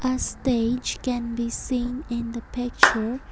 a stage can be seen in the picture.